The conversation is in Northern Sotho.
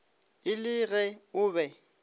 e le ge o be